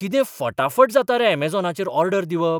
कितें फटाफट जाता रे अमेझॉनाचेर ऑर्डर दिवप!